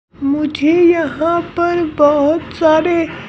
मुझे यहाँ पर बहुत सारे--